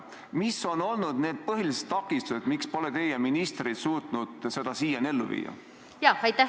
Mis on olnud need põhilised takistused, miks pole teie ministrid suutnud seda kõike siiani ellu viia?